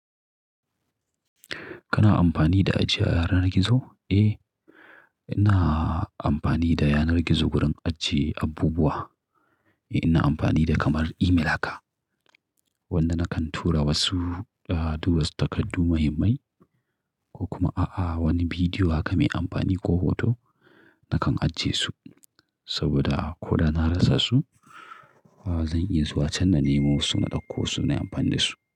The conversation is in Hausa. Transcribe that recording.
Kana amfani da ajiye yanar gizo? Eh, ina amfani da yanar gizo wurin ajiye abubuwa. Ina amfani da kamar email haka wanda nakan tura wasu, duwatsu takardu muhimmai ko kuma a'a wani bidiyo haka mai amfani ko hoto nakan ajiye su saboda ko da na rasa su zan iya zuwa can na nemo su, na ɗauko su na yi amfani da su.